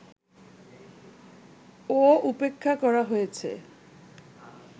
ও উপেক্ষা করা হয়েছে